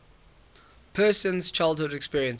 person's childhood experiences